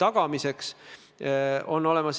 Urmas Kruuse, palun!